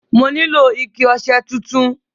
Mo nílò ike ọṣẹ tuntun.